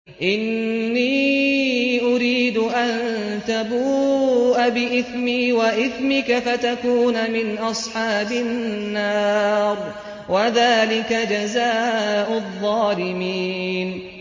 إِنِّي أُرِيدُ أَن تَبُوءَ بِإِثْمِي وَإِثْمِكَ فَتَكُونَ مِنْ أَصْحَابِ النَّارِ ۚ وَذَٰلِكَ جَزَاءُ الظَّالِمِينَ